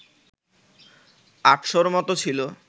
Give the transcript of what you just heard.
৮০০র মতো ছিল